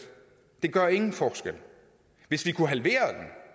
gør ingen forskel hvis vi kunne halvere